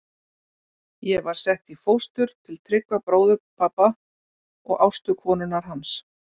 Ég var sett í fóstur, til Tryggva bróður pabba og Ástu konunnar hans.